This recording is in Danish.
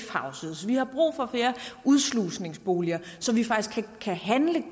houses vi har brug for flere udslusningsboliger så vi faktisk kan handle